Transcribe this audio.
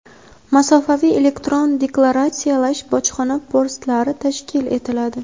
"Masofaviy elektron deklaratsiyalash" bojxona postlari tashkil etiladi.